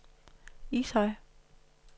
Ishøj